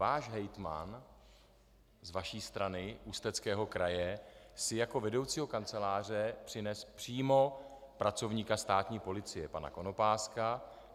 Váš hejtman z vaší strany Ústeckého kraje si jako vedoucího kanceláře přinesl přímo pracovníka státní policie pana Konopáska.